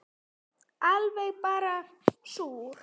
Alveg bara súr